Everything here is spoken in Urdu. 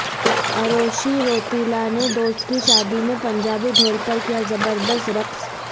اروشی روتیلا نے دوست کی شادی میں پنجابی ڈھول پر کیا زبردست رقص